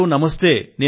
మోదీ గారూ నమస్తే